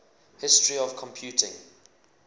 history of computing